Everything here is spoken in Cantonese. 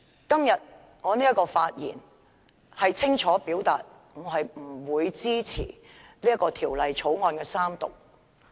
今天我的發言是想清楚表達，我不會支持《條例草案》三讀。